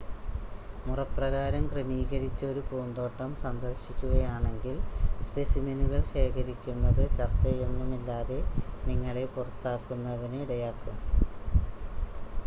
"മുറപ്രകാരം ക്രമീകരിച്ച ഒരു പൂന്തോട്ടം സന്ദർശിക്കുകയാണെങ്കിൽ "സ്‌പെസിമെനുകൾ" ശേഖരിക്കുന്നത് ചർച്ചയൊന്നുമില്ലാതെ നിങ്ങളെ പുറത്താക്കുന്നതിന് ഇടയാക്കും.